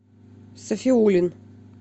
сафиуллин